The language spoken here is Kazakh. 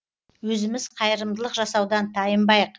өзіміз қайырымдық жасаудан тайынбайық